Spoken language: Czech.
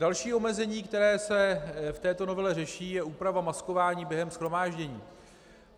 Další omezení, které se v této novele řeší, je úprava maskování během shromáždění.